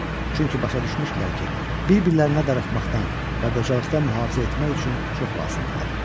Çünki başa düşmüşdülər ki, bir-birlərinə darıxmaqdan və qocalıqdan mühafizə etmək üçün çox lazımdırlar.